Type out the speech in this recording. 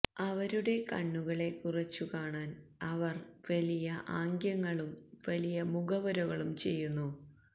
അവരുടെ കണ്ണുകളെ കുറച്ചുകാണാൻ അവർ വലിയ ആംഗ്യങ്ങളും വലിയ മുഖവുരകളും ചെയ്യുന്നു